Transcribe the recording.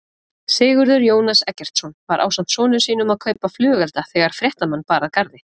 Sigurður Jónas Eggertsson var ásamt sonum sínum að kaupa flugelda þegar fréttamann bar að garði?